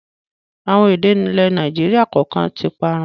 Àwọn èdè ilẹ̀ Nàìjíríà kọ̀ọ̀kan tí parun